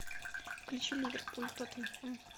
включи ливерпуль тоттенхэм